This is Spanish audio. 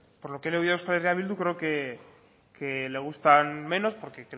por lo que le he oído a euskal herria bildu creo que le gustan menos porque